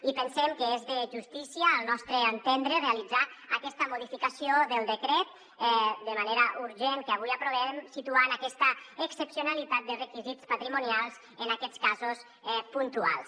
i pensem que és de justícia al nostre entendre realitzar aquesta modificació del decret de manera urgent que avui aprovem situant aquesta excepcionalitat de requisits patrimonials en aquests casos puntuals